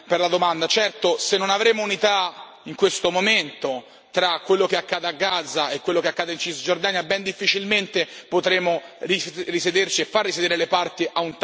Certo, se non avremo unità, in questo momento, tra quello che accade a Gaza e quello che accade in Cisgiordania, ben difficilmente potremo risederci e far risedere le parti a un tavolo negoziale.